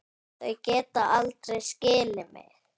Þau geta aldrei skilið mig.